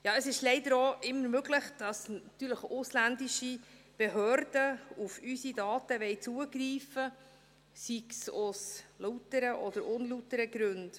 Ja, es ist leider auch immer möglich, dass natürlich ausländische Behörden auf unsere Daten zugreifen wollen, sei es aus lauteren oder unlauteren Gründen.